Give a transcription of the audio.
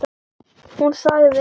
Hún sagði: